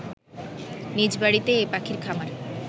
নিজ বাড়িতে এ পাখির খামার